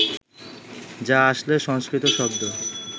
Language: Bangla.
যা আসলে সংস্কৃত শব্দ